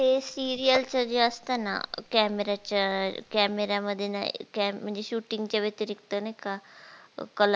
ते seria च जे असत ना camera च्या camera मध्ये नाई म्हणजे shooting च्या व्यतिरिक्त नाई का